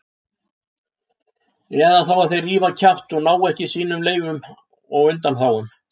Eða þá að þeir rífa kjaft og ná ekki sínum leyfum og undanþágum.